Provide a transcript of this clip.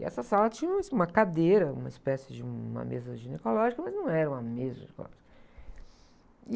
E essa sala tinha umas, uma cadeira, uma espécie de uma mesa ginecológica, mas não era uma mesa ginecológica.